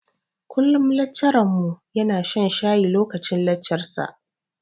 Kullum laccarar mu ya na shan shayi lokacin laccar sa